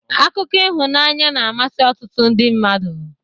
Akụkọ ịhụnany na-amasị ọtụtụ ndị mmadụ.